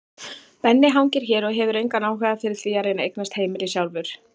Benni hangir hér og hefur engan áhuga fyrir því að reyna að eignast heimili sjálfur.